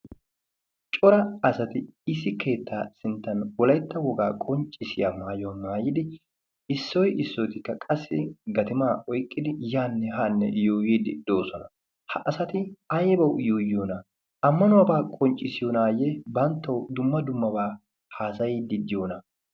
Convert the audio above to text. Cora asati issi keettaa sinttan wolayitta wogaa qonccissiyaa maayuwa maayidi issoy issotikka qassi gatimaa oyikkidi yaanne haanne yuuyyiiddi de'oosona. Ha asati ayibawu yuuyyiyoonaa? Ammanuwabaa qonccissiyoonaayye banttawu dumma dummabaa haasayiiddi diyoonaa?